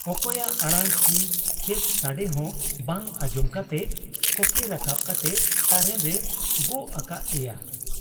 ᱚᱠᱚᱭᱟᱜ ᱟᱲᱟᱝ ᱪᱤ ᱪᱮᱫ ᱥᱟᱰᱮᱦᱚᱸ ᱵᱟᱝ ᱟᱸᱡᱚᱢ ᱠᱟᱛᱮ ᱠᱚᱠᱮ ᱨᱟᱠᱟᱵ ᱠᱟᱛᱮ ᱛᱟᱨᱮᱱ ᱨᱮᱭ ᱜᱚᱜ ᱟᱠᱟᱫ ᱮᱭᱟ ᱾